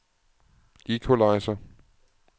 equalizer